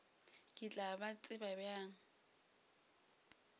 ke tla ba tseba bjang